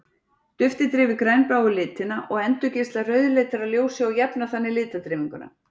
Duftið deyfir grænbláu litina og endurgeislar rauðleitara ljósi og jafnar þannig litadreifinguna.